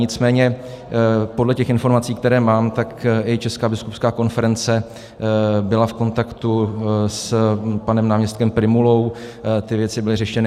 Nicméně podle těch informací, které mám, tak i Česká biskupská konference byla v kontaktu s panem náměstkem Prymulou, ty věci byly řešeny.